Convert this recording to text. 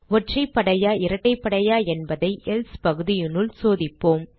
ஒற்றைப்படையா இரட்டைப்படையா என்பதை எல்சே பகுதியினுள் சோதிப்போம்